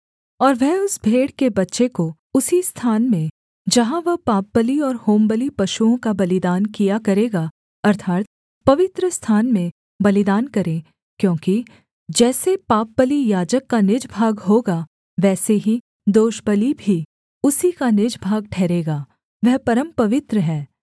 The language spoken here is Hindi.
और वह उस भेड़ के बच्चे को उसी स्थान में जहाँ वह पापबलि और होमबलि पशुओं का बलिदान किया करेगा अर्थात् पवित्रस्थान में बलिदान करे क्योंकि जैसे पापबलि याजक का निज भाग होगा वैसे ही दोषबलि भी उसी का निज भाग ठहरेगा वह परमपवित्र है